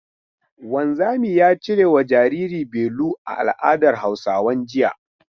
Wanzami ya cirewa jariri belu a al'adar Hausawan jiya.